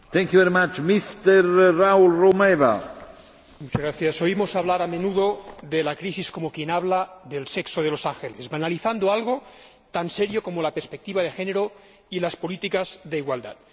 Señor Presidente, oímos hablar a menudo de la crisis como quien habla del sexo de los ángeles, banalizando algo tan serio como la perspectiva de género y las políticas de igualdad.